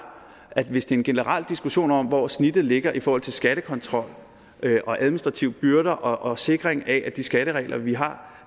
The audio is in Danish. at hvis det er en generel diskussion om hvor snittet ligger i forhold til skattekontrol og administrative byrder og sikring af at de skatteregler vi har